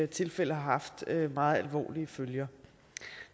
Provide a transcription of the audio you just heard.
tilfælde har haft meget alvorlige følger